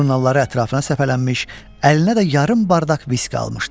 Jurnalları ətrafına səpələnmiş, əlinə də yarım bardak viski almışdı.